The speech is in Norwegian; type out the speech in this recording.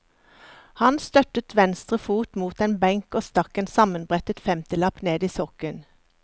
Han støttet venstre fot mot en benk og stakk en sammenbrettet femtilapp ned i sokken.